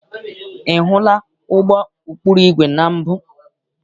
Ị hụla ụgbọ ụkpụrụ igwe na mbụ?